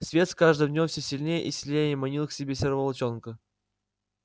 свет с каждым днём всё сильнее и сильнее манил к себе серого волчонка